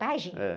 Pajem?.